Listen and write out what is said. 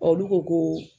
Olu ko ko